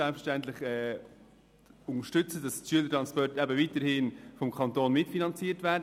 Selbstverständlich unterstützen wir die Schülertransporte, und sie sollen weiterhin vom Kanton mitfinanziert werden.